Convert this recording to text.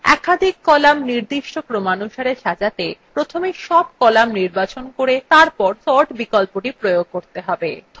একাধিক কলাম নির্দিষ্ট ক্রমানুসারে সাজাতে প্রথমে সব কলাম নির্বাচন করে তারপর sort বিকল্পটি প্রয়োগ করতে হবে